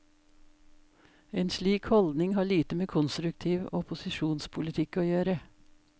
En slik holdning har lite med konstruktiv opposisjonspolitikk å gjøre.